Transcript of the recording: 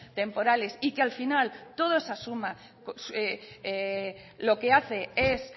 temporales y que al final toda esa suma lo que hace es